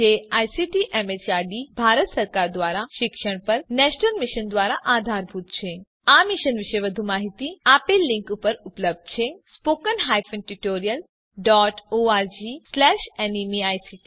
જે ICT MHRD Bharat સરકાર દ્વારા શિક્ષણ પર નેશનલ મિશન દ્વારા આધારભૂત છે આ મિશન વિશે વધુ માહીતી આ લીંક ઉપર ઉપલબ્ધ છે httpspoken tutorialorgNMEICT Intro અહીં આ ટ્યુટોરીયલ સમાપ્ત થાય છે